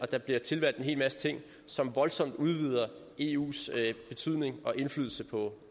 der bliver tilvalgt en hel masse ting som voldsomt udvider eus betydning og indflydelse på